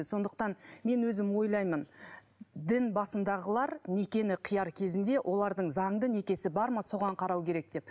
сондықтан мен өзім ойлаймын дін басындағылар некені қияр кезінде олардың заңды некесі бар ма соған қарау керек деп